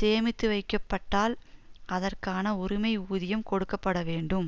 சேமித்துவைக்கப்பட்டால் அதற்கான உரிமை ஊதியம் கொடுக்க பட வேண்டும்